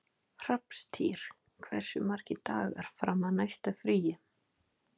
Hrafntýr, hversu margir dagar fram að næsta fríi?